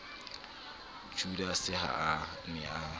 judase ha a ne a